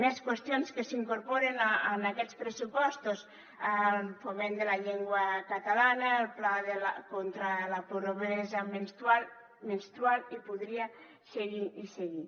més qüestions que s’incorporen en aquests pressupostos el foment de la llengua catalana el pla contra la pobresa menstrual i podria seguir i seguir